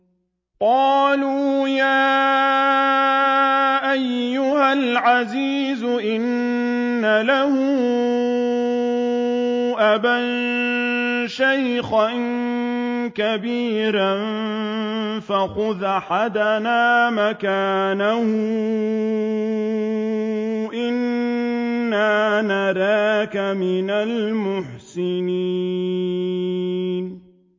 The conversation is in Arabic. قَالُوا يَا أَيُّهَا الْعَزِيزُ إِنَّ لَهُ أَبًا شَيْخًا كَبِيرًا فَخُذْ أَحَدَنَا مَكَانَهُ ۖ إِنَّا نَرَاكَ مِنَ الْمُحْسِنِينَ